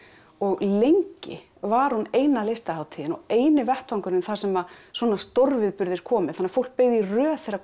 og lengi var hún eina listahátíðin og eini vettvangurinn þar sem svona stórviðburðir komu þannig að fólk beið í röð þegar